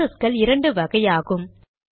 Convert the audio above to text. ப்ராசஸ்கள் இரண்டு வகையாகும்